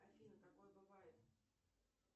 афина такое бывает